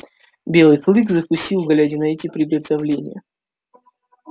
белый клык закусил глядя на эти приготовления